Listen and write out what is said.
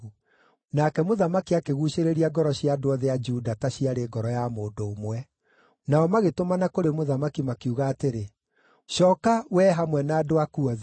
Nake mũthamaki akĩguucĩrĩria ngoro cia andũ othe a Juda ta ciarĩ ngoro ya mũndũ ũmwe. Nao magĩtũmana kũrĩ mũthamaki, makiuga atĩrĩ, “Cooka, wee hamwe na andũ aku othe.”